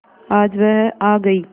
आज वह आ गई